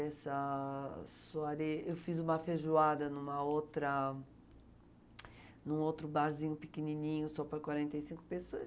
Eu fiz a soirée, eu fiz uma feijoada numa outra... Num outro barzinho pequenininho, só para quarenta e cinco pessoas.